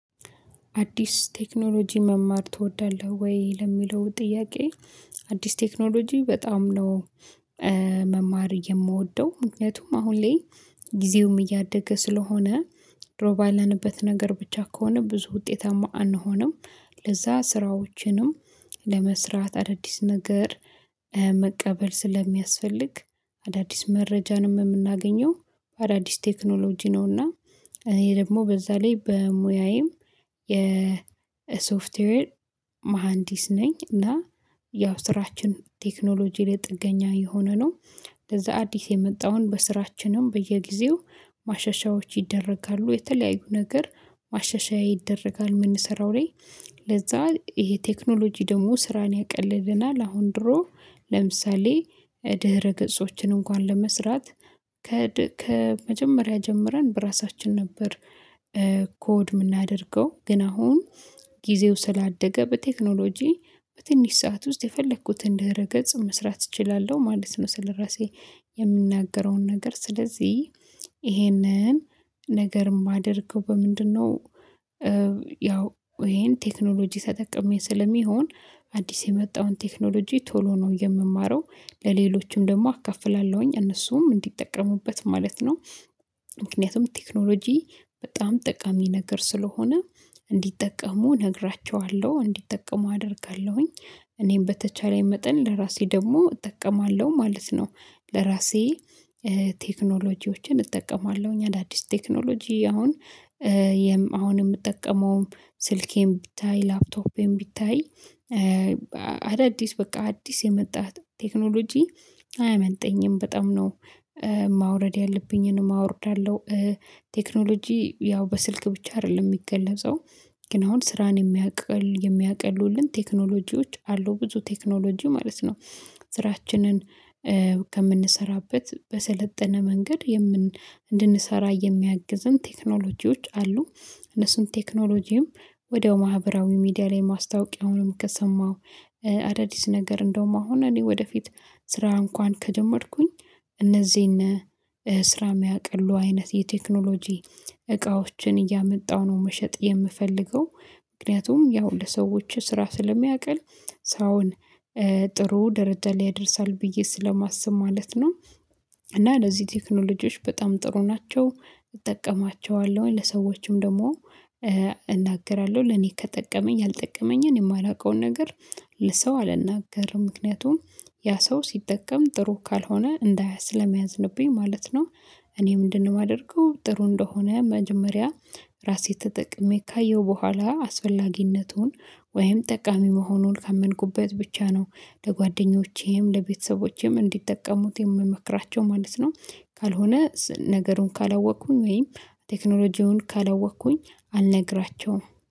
አዲስ ቴክኖሎጂ መማር ትወዳለህ ወይ ለሚለው ጥያቄ? አዲስ ቴክኖሎጂ በጣም ነው። መማር የምወደው ምክንያቱም አሁን ላይ ጊዜውም እያደገ ስለሆነ ድሮ ባለንበት ነገር ብቻ ከሆነ ብዙ ውጤታማ አንሆንም። ለዛ ስራዎችንም ለመስራት አዳዲስ ነገር መቀበል ስለሚያስፈልግ አዳዲስ መረጃንም የምናገኘው አዳዲስ ቴክኖሎጂ ነውና። እኔ ደግሞ በዛ ላይ በሙያዬም የሶፍትዌር መሃንዲስ ነኝ እና ያው ስራችን ቴክኖሎጂ ላይ ጥገኛ የሆነ ነው። ለዛ አዲስ የመጣውን በስራችንም በየጊዜው ማሻሻያዎች ይደረጋሉ የተለያዩ ነገር ማሻሻያ ይደረጋል የምንሰራው ላይ። ለዛ ይሄ ቴክኖሎጂ ደግሞ ስራን ያቀልልና ለአሁን ድሮ ለምሳሌ ድህረ ገጾችን እንኳን ለመስራት ከመጀመሪያ ጀምረን በራሳችን ነበር። ኮድ የምናደርገው ግን አሁን ጊዜው ስላደገ በቴክኖሎጂ በትንሽ ሰዓት ውስጥ የፈለኩትን ድህረ ገጽ መስራት እችላለሁ ማለት ነው። ስለራሴ የምናገረውን ነገር ስለዚህ ይሄንን ነገር የማደርገው በምንድነው? ያው ይሄን ቴክኖሎጂ ተጠቅሜ ስለሚሆን አዲስ የመጣውን ቴክኖሎጂ ቶሎ ነው የምማረው ለሌሎችም ደግሞ አካፍላለሁኝ እነሱም እንዲጠቀሙበት ማለት ነው። ምክንያቱም ቴክኖሎጂ በጣም ጠቃሚ ነገር ስለሆነ እንዲጠቀሙ እነግራችኋለሁ እንዲጠቀሙ አደርጋለሁኝ እኔም በተቻለኝ መጠን ለራሴ ደግሞ እጠቀማለሁ ማለት ነው። ለራሴ ቴክኖሎጂዎችን እጠቀማለሁ እኛ አዳዲስ ቴክኖሎጂ አሁን አሁን የምጠቀመውም ስልኬን ቢታይ ላፕቶፔን ቢታይ አዳዲስ በቃ አዲስ የመጣ ቴክኖሎጂ አያመልጠኝም በጣም ነው። ማውረድ ያለብኝን አወርዳለሁ። ቴክኖሎጂ ያው በስልክ ብቻ አይደለም የሚገለጸው ግን አሁን ስራን የሚያቅል የሚያቀልሉልን ቴክኖሎጂዎች አሉ ብዙ ቴክኖሎጂ ማለት ነው። ስራችንን ከምንሰራበት በሰለጠነ መንገድ የምን እንድንሰራ የሚያግዝን ቴክኖሎጂዎች አሉ። እነሱን ቴክኖሎጂም ወዲያው ማህበራዊ ሚዲያ ላይ ማስታወቂያውንም ከሰማው አዳዲስ ነገር እንደውም አሁን እኔ ወደፊት ስራ እንኳን ከጀመርኩኝ እነዚህን ስራ የሚያቅሉ አይነት የቴክኖሎጂ እቃዎችን እያመጣው ነው። መሸጥ የምፈልገው ምክንያቱም ያው ለሰዎች ስራ ስለሚያቀል ሰውን ጥሩ ደረጃ ላይ ያደርሳል ብዬ ስለማስብ ማለት ነው። እና ለዚህ ቴክኖሎጂዎች በጣም ጥሩ ናቸው። እጠቀማቸዋለሁኝ ለሰዎችም ደግሞ እናገራለሁ ለኔ ከጠቀመኝ ያልጠቀመኝን የማላውቀውን ነገር ለሰው አልናገርም ምክንያቱም ያ ሰው ሲጠቀም ጥሩ ካልሆነ እንዳያዝ ስለሚያዝብኝ ማለት ነው። እኔ ምንድነው የማደርገው ጥሩ እንደሆነ መጀመሪያ ራሴ ተጠቅሜ ካየሁ በኋላ አስፈላጊነቱን ወይም ጠቃሚ መሆኑን ካመንኩበት ብቻ ነው ለጓደኞቼም ለቤተሰቦቼም እንዲጠቀሙት የምመክራቸው ማለት ነው። ካልሆነ ነገሩን ካላወቅኩኝ ወይም ቴክኖሎጂውን ካለወቅኩኝ አልነግራቸውም